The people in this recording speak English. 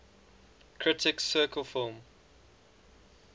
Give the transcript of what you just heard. critics circle film